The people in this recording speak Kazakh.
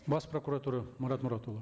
бас прокуратура марат мұратұлы